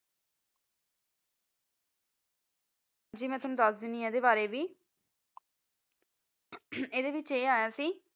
ਹਨ ਜੀ ਮਾ ਦਸ ਦਾਨੀ ਆ ਅੰਦਾ ਬਾਰਾ ਵੀ ਅੰਦਾ ਵਿਤਚ ਆ ਯਾ ਸੀ